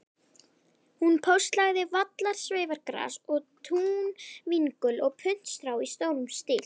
Hún póstlagði vallarsveifgras og túnvingul og puntstrá í stórum stíl.